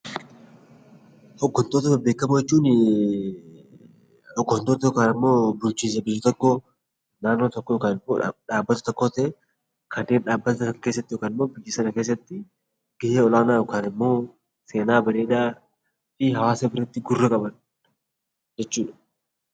Hoggantoota bebbeekamoo jechuun hoggantoota yookaan immoo bulchiinsa biyya tokkoo, naannoo tokkoo yookaan dhaabbata tokkoo tahee, kanneen dhaabbata Sana keessatti yookaan immoo biyya sana keessatti gahee ol-aanaa yookaan seenaa bareedaa fi hawaasa biratti gurra qaban jechuudha.